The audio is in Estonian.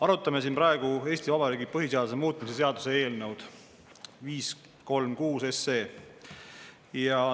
Arutame siin praegu Eesti Vabariigi põhiseaduse muutmise seaduse eelnõu 536.